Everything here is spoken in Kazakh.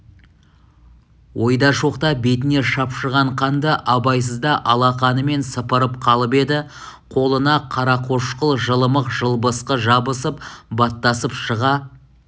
ойда жоқта бетіне шапшыған қанды абайсызда алақанымен сыпырып қалып еді қолы на қарақошқыл жылымық жылбысқы жабысып баттасып шыға